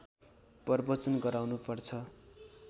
प्रवचन गराउनुपर्छ